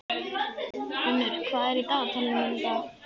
Unnur, hvað er í dagatalinu mínu í dag?